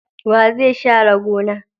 Wa zai share gona?